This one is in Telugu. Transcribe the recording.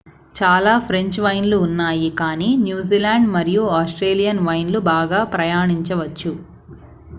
చాలా ఫ్రెంచ్ వైన్లు ఉన్నాయి కానీ న్యూజిలాండ్ మరియు ఆస్ట్రేలియన్ వైన్లు బాగా ప్రయాణించవచ్చు